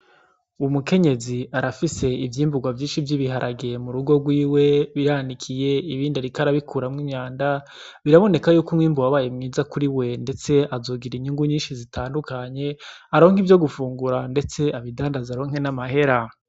Umukenyezi arafise ivyimbugwa vyinshi vy'ibiharage murugo gwiwe biranikiye, ibindi ariko arakuramwo imyanda biraboneka yuko umwimbu wabaye mwiza kuriwe ndetse azogira inyungu nyinshi zitandukanye aronke ivyo gufungura ndetse abidandaze aronke n'amahera.